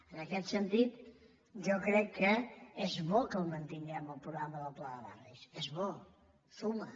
en aquest sentit jo crec que és bo que el mantinguem el programa del pla de barris és bo suma